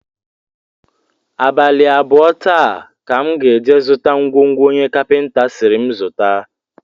Abalị abụọ taa ka m ga-eje zụta ngwongwo onye kapịnta sịrị m zụta